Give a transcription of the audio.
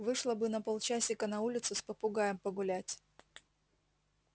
вышла бы на полчасика на улицу с попугаем погулять